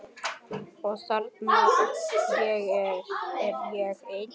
Og þarna er ég enn.